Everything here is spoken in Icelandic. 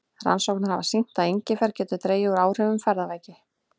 Rannsóknir hafa sýnt að engifer getur dregið úr áhrifum ferðaveiki.